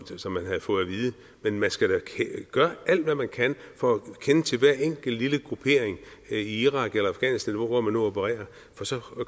som man havde fået at vide men man skal da gøre alt hvad man kan for at kende til hver enkelt lille gruppering i irak eller afghanistan eller hvor man nu opererer for så